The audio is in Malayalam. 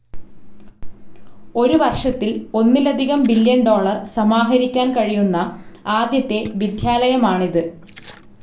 ഒരു വർഷത്തിൽ ഒന്നിലധികം ബില്യൻ ഡോളർ സമാഹരിക്കാൻ കഴിയുന്ന ആദ്യത്തെ വിദ്യാലയമാണിത്.